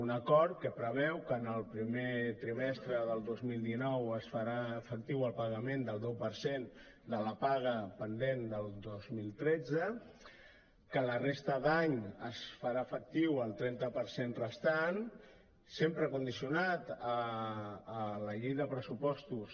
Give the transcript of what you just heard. un acord que preveu que en el primer trimestre del dos mil dinou es farà efectiu el pagament del deu per cent de la paga pendent del dos mil tretze que la resta d’any es farà efectiu el trenta per cent restant sempre condicionat a la llei de pressupostos